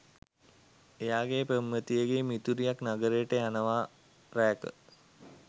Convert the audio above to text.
එයාගේ පෙම්වතියගෙ මිතුරියක් නගරයට යනවා රෑක.